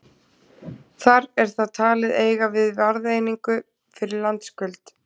Þar er það talið eiga við verðeiningu fyrir landskuld.